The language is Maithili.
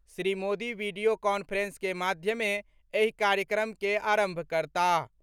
श्री मोदी वीडियो कांफ्रेंस के माध्यमे एहि कार्यक्रम के आरंभ करताह।